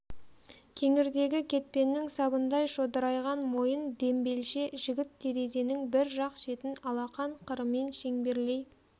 кеңірдегі кетпеннің сабындай шодырайған мойын дембелше жігіт терезенің бір жақ шетін алақан қырымен шеңберлей